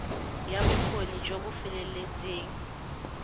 ya bokgoni jo bo feteletseng